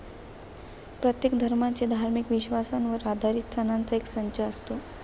प्रत्येक धर्माच्या धार्मिक विश्वासांवर आधारित सणांचा एक संच असतो.